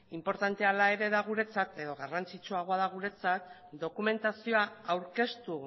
garrantzitsuagoa da guretzat dokumentazioa aurkeztu